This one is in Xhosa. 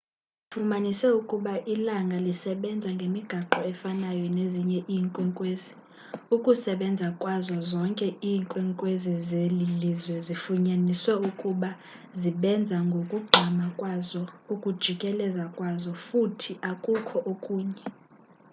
bafumanise ukuba ilanga lisebenza ngemigaqo efanayo nezinye iinkwenkwezi ukusebenza kwazo zonke iinkwenkwezi zelilizwe zifunyaniswe ukuba zibenza ngokugqama kwazo ukujikeleza kwazo futhi akukho okunye